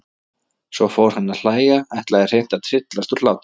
Svo fór hann að hlæja, ætlaði hreint að tryllast úr hlátri.